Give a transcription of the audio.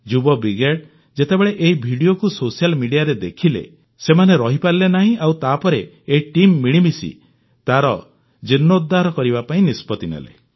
ଯୁବ ବ୍ରିଗେଡ୍ ଯେତେବେଳେ ଏହି ଭିଡିଓକୁ ସୋସିଆଲ୍ ମିଡିଆରେ ଦେଖିଲେ ସେମାନେ ରହିପାରିଲେ ନାହିଁ ଆଉ ତାପରେ ଏହି ଟିମ୍ ମିଳିମିଶି ତାର ଜୀର୍ଣ୍ଣୋଦ୍ଧାର କରିବା ପାଇଁ ନିଷ୍ପତ୍ତି ନେଲେ